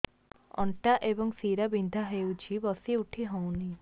ଅଣ୍ଟା ଏବଂ ଶୀରା ବିନ୍ଧା ହେଉଛି ବସି ଉଠି ହଉନି